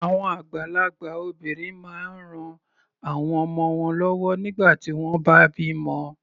Àwọn àgbàlagbà obìnrin máa ń ran àwọn ọmọ wọ́n lọ́wọ́ nígbà tí wọ́n bá bímọ.